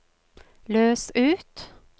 løs ut